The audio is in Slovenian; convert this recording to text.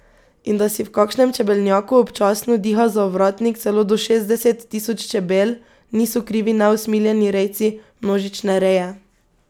In da si v kakšnem čebelnjaku občasno diha za ovratnik celo do šestdeset tisoč čebel, niso krivi neusmiljeni rejci množične reje.